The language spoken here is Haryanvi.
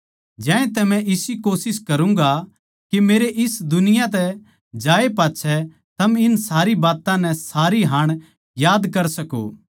ज्यांतै मै इसी कोशिश करूँगा के मेरे इस दुनिया तै जाण बाद थम इन सारी बात्तां नै सारी हाण याद कर सको